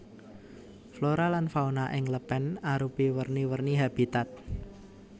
Flora lan fauna ing lèpèn arupi werni werni habitat